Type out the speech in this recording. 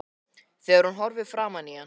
Þegar hún horfði framan í hann